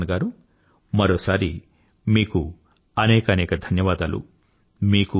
రిపుదమన్ గారూ మరోసారి మీకు అనేకానేక ధన్యవాదాలు